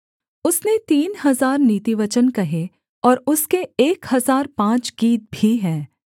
उसने तीन हजार नीतिवचन कहे और उसके एक हजार पाँच गीत भी हैं